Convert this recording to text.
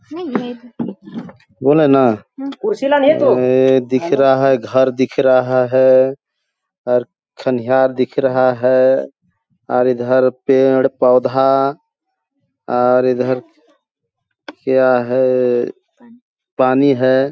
बोले ना ऐ दिख रहा है घर दिख रहा है और खनियार दिख रहा है और इधर पेड़-पौधा और इधर क्या है ? पानी हैं ।